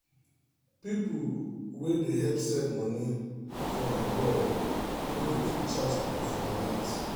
people wey dey help send money from abroad no dey too charge people for alert